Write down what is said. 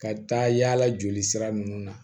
Ka taa yaala jolisira ninnu na